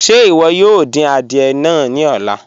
Ṣe iwọ yoo din àdìẹ̀ náà ni ọ̀lá?